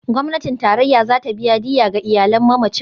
Gwamnatin Tarayya za ta biya diyya ga iyalan mamacin.